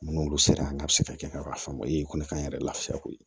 Minnu sera an ka se ka kɛ ka faamu o ye kɔni ka n yɛrɛ lafiya koyi